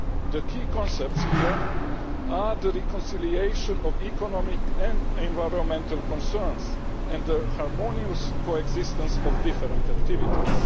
The key concepts here are the reconciliation of economic and environmental concerns and the harmonious coexistence of different activities.